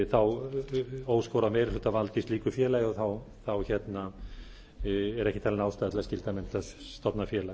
þá óskorað meirihlutavald í slíku félagi og þá er ekki talin ástæða til að skylda menn til að stofna félag